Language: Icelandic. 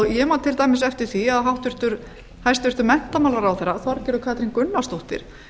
ég man til dæmis eftir því að hæstvirtur menntamálaráðherra þorgerður katrín gunnarsdóttir